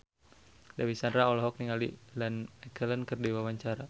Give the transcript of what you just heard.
Dewi Sandra olohok ningali Ian McKellen keur diwawancara